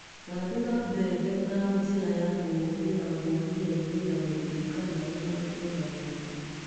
Thendũra mbembe na njĩra ya kũhũrira gũnia-inĩ na mũti kana ũthendũre na moko.